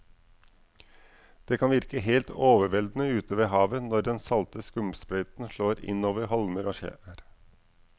Det kan virke helt overveldende ute ved havet når den salte skumsprøyten slår innover holmer og skjær.